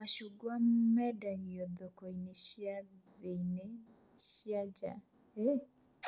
Macungwa mendagio thoko-inĩ cia thĩiniĩ na nja